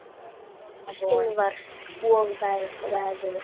Sólskin var og veður stillt.